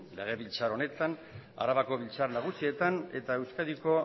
legebiltzar honetan arabako batzar nagusietan eta euskadiko